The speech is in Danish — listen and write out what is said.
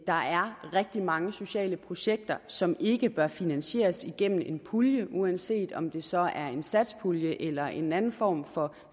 der er rigtig mange sociale projekter som ikke bør finansieres gennem en pulje uanset om det så er en satspulje eller en anden form for